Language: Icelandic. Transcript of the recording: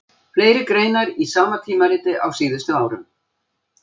Fleiri greinar í sama tímariti á síðustu árum.